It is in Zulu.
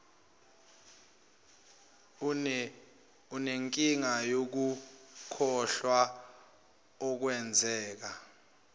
unenkinga yokukhohlwa okungenza